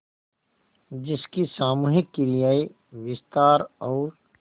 जिसकी सामूहिक क्रियाएँ विस्तार और